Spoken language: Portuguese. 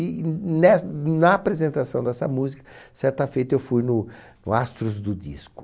E ness na apresentação dessa música, certa feita, eu fui no no Astros do Disco.